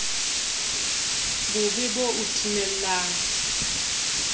bo be bo o timella